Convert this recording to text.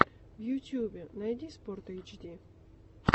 в ютубе найти спортэйчди